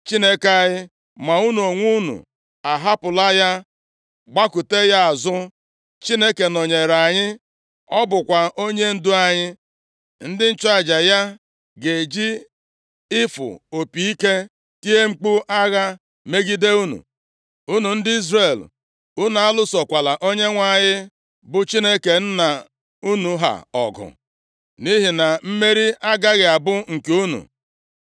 Chineke nọnyeere anyị. Ọ bụkwa onyendu anyị. Ndị nchụaja ya ga-eji ịfụ opi ike tie mkpu agha megide unu. Unu ndị Izrel, unu alụsokwala Onyenwe anyị bụ Chineke nna unu ha ọgụ nʼihi na mmeri agaghị abụ nke unu!”